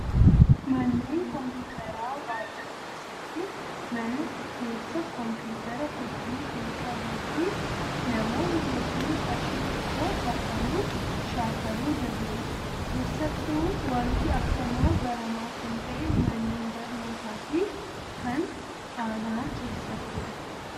Manneen kompiitaraa baay'ee keessatti mana keessa kompiitara hedduu kan qabuu fi namoonni hedduun qarshii xiqqoo kaffaluun shaakaluu danda'u. Keessattuu wanti akkanaa baramaa kan ta'e manneen barnootaa fi kan aanaa keessatti